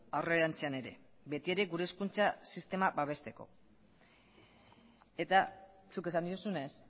aurrerantzean ere beti ere gure hezkuntza sistema babesteko eta zuk esan duzunez